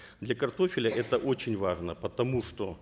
для картофеля это очень важно потому что